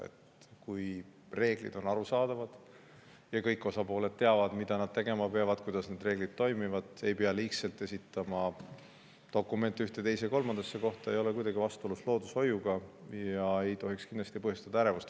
See, kui reeglid on arusaadavad ja kõik osapooled teavad, mida nad tegema peavad, teavad, kuidas need reeglid toimivad, ja ei pea liigselt dokumente esitama ühte, teise või kolmandasse kohta, ei ole kuidagi vastuolus loodushoiuga ega tohiks kindlasti põhjustada ärevust.